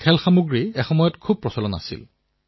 এই গেমবোৰ শিশুৱেও খেলে আৰু ডাঙৰেও খেলে